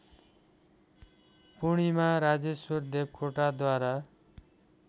Purnima Rajeshwar देवकोटाद्वारा